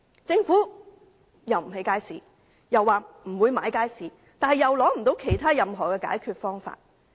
政府既不肯興建街市，又說不會購入街市，但又無法提出任何解決方法。